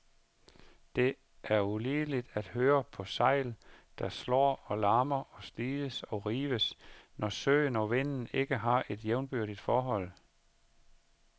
Det er ulideligt at høre på sejl, der slår og larmer og slides og rives, når søen og vinden ikke har et jævnbyrdigt forhold.